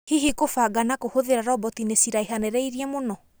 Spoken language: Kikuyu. Hihi kũbanga na kũhũthĩra roboti nĩciraihanĩrĩirie mũno?